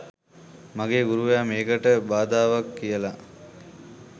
මගේ ගුරුවරයා මේකට බාධාවක් කියලා.